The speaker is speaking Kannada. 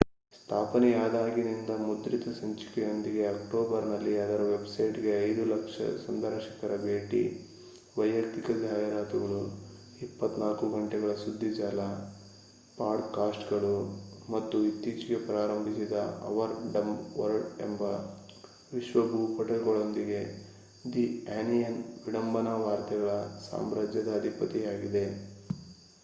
ಸ್ಥಾಪನೆಯಾದಾಗಿನಿಂದ ಮುದ್ರಿತ ಸಂಚಿಕೆಯೊಂದಿಗೆ ಅಕ್ಟೋಬರ್‍‌ನಲ್ಲಿ ಅದರ ವೆಬ್‍‌ಸೈಟ್‍‌ಗೆ 5,000,000 ಸಂದರ್ಶಕರ ಭೇಟಿ ವಯಕ್ತಿಕ ಜಾಹೀರಾತುಗಳು 24 ಗಂಟೆಗಳ ಸುಧ್ದಿಜಾಲ ಪಾಡ್‍‌‍ಕಾಸ್ಟ್‌ಗಳು ಮತ್ತು ಇತ್ತೀಚೆಗೆ ಪ್ರಾರಂಭಿಸಿದ ಅವರ್ ಡಂಬ್ ವರ್ಲ್ಡ್ ಎಂಬ ವಿಶ್ವ ಭೂಪಟಗಳೊಂದಿಗೆ ದ ಆನಿಯನ್ ವಿಡಂಬನಾ ವಾರ್ತೆಗಳ ಸಾಮ್ರಾಜ್ಯದ ಅಧಿಪತಿಯಾಗಿದೆ